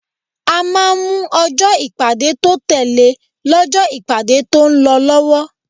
A máa ń mú ọjọ́ ìpàdé tó tẹle lọ́jọ́ ìpàdé tó ń lọ lọ́wọ́.